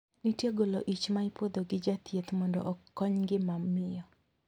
Nitie golo ich ma ipuodho gi jathieth mondo kony ngima miyo.